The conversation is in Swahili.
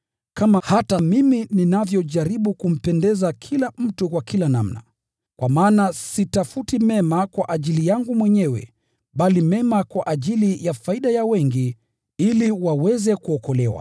kama hata mimi ninavyojaribu kumpendeza kila mtu kwa kila namna. Kwa maana sitafuti mema kwa ajili yangu mwenyewe bali kwa ajili ya wengi, ili waweze kuokolewa.